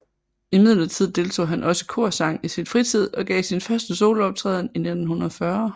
Imidlertid deltog han også i korsang i sin fritid og gav sin første solooptræden i 1940